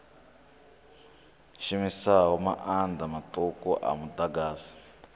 shumisaho maanḓa maṱuku a muḓagasi